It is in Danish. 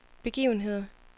begivenheder